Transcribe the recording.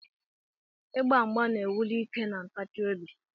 Igba mgba na-ewuli ike na ntachi obi.